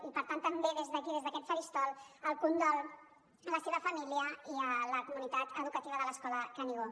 i per tant també des d’aquí des d’aquest faristol el condol a la seva família i a la comunitat educativa de l’escola canigó